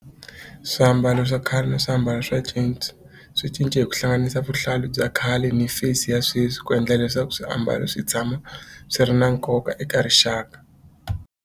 Swiambalo swa khale na swiambalo swa swi cince hi ku hlanganisa vuhlalu bya khale ni face ya sweswi ku endla leswaku swiambalo swi tshama swi ri na nkoka eka rixaka.